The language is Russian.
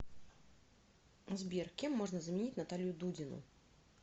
сбер кем можно заменить наталью дудину